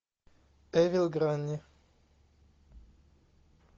эвил грани